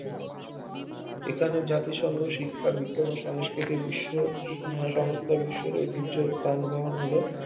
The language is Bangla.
এখানে জাতিসংঘ শিক্ষা, বিজ্ঞান ও সাংস্কৃতি বিশ্ব আহ সংস্থা বিশ্বর ঐতিহ্য স্থান গ্রহণ হল